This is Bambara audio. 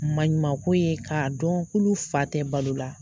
Manɲuman ko ye k'a dɔn k'olu fa tɛ balo la.